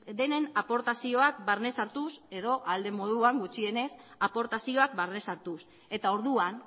denen aportazioak barnez hartuz edo ahal den moduan gutxienez aportazioak barnez hartuz eta orduan